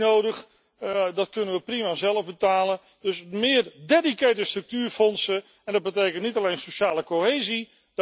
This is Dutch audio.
Dat is echt niet nodig. Dat kunnen we prima zelf betalen. Dus meer dedicated structuurfondsen, en dat betekent niet alleen sociale cohesie.